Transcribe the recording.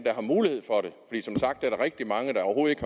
der der rigtig mange der overhovedet